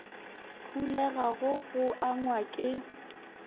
phulega go go angwa ke